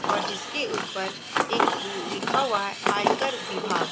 और जिसके ऊपर एक मम लिखा हुआ है आयकर विभाग।